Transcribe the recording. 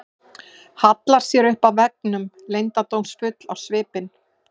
Hallar sér upp að veggnum, leyndardómsfull á svipinn.